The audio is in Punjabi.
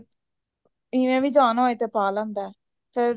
ਇਹ ਏ ਵੀ ਜਾਣਾ ਹੋਏ ਤੇ ਪਾ ਲੈਂਦਾ ਚੱਲ